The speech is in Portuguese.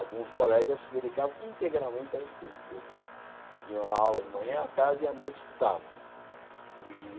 Alguns colegas se dedicavam integralmente ao estudo, quer dizer, iam à aula de manhã, à tarde e à noite estudavam. E